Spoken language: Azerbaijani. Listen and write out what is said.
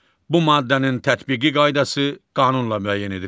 Bu maddənin tətbiqi qaydası qanunla müəyyən edilir.